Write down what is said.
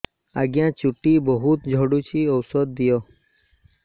ଆଜ୍ଞା ଚୁଟି ବହୁତ୍ ଝଡୁଚି ଔଷଧ ଦିଅ